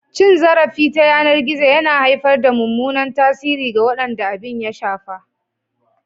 Cin zarafi ta yanar gizo yana haifar da mummunan tasiri ga waɗanda abin ya shafa.